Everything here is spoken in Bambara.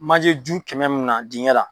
Manjeju kɛmɛ min na dingɛ la.